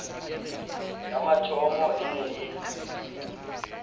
ya mathomo e ne e